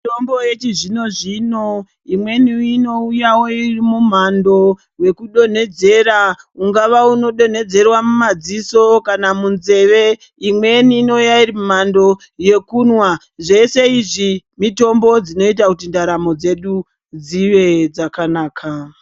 Mitombo yechizvino zvino imweni inouyawo iri mumhando wekudonhodzera. Ungava unodonhedzerwa mumadziso kana munzeve. Imweni inouya iri mumhando yekumwa. Zveshe izvi mitombo dzinoita kuti ndaramo dzedu dzinge dzakanaka.